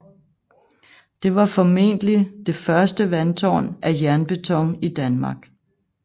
Det var formentlig det første vandtårn af jernbeton i Danmark